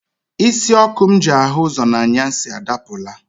Isi ọkụ m ji ahụ ụzọ n'anyasị adapụla.